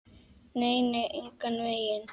Nei, nei, engan veginn.